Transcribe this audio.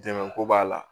Dɛmɛko b'a la